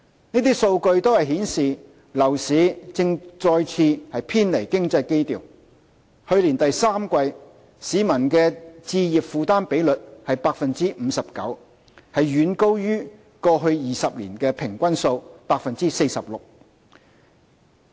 這些數據均顯示樓市正再次偏離經濟基調；去年第三季，市民的置業負擔比率為 59%， 遠高於過去20年的平均數 46%。